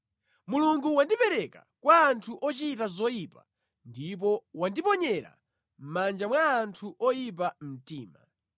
Mulungu wandipereka kwa anthu ochita zoyipa ndipo wandiponyera mʼmanja mwa anthu oyipa mtima.